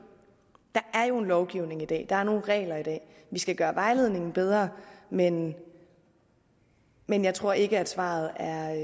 der er jo en lovgivning i dag og der er nogle regler i dag vi skal gøre vejledningen bedre men men jeg tror ikke at svaret er